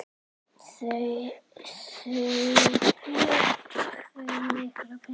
Þulur: Hve mikla peninga?